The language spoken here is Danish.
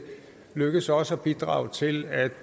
lykkes os at bidrage til at